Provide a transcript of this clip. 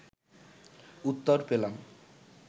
উত্তর পেলাম